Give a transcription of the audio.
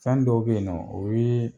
Fɛn dɔw be yen nɔ, o ye